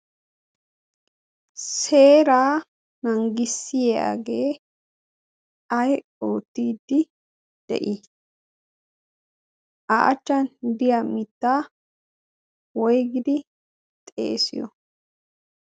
seeraa nangiisiyagee ay oottidi de'ii? a achchan de"iyaa mittaa woygidi xeesiyoo?